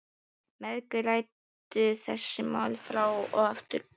Mæðgurnar ræddu þessi mál fram og aftur.